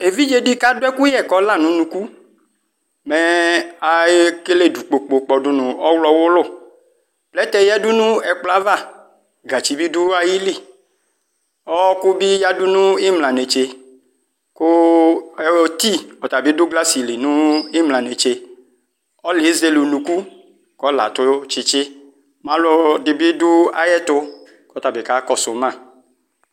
evidzedi kadʋ ɛkʋyɛ kɔla nʋ nʋkʋ mɛ ekele dʋkpokpo dʋnʋ ɔɣloɔ wɔlʋ plɛtɛ yadʋnʋ ɛkpɔyɛ ava gatsi bi dʋ ayili ɔwʋkʋbi yadʋ nʋ imlanetse kʋ ɛ tii ɔtabi dʋ NA li nimla netse ɔlʋɛ zele nʋkʋ kʋɔlaɛ atʋ tsitsi malʋɛdibi ɔdʋ ayʋɛtʋ kɔtabi kakɔsʋma